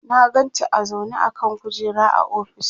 na ganta a zaune a kan kujera a ofis